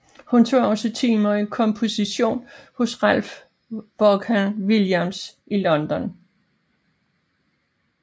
Hun tog også timer i komposition hos Ralph Vaughan Williams i London